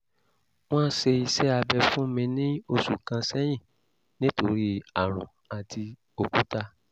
wọ́n ṣe iṣẹ́ abẹ fún mi ní òṣù kan sẹ́yìn nítorí àrùn àti òkúta